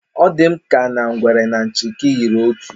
Ọ dị m ka na ngwere na nchịkị yiri otu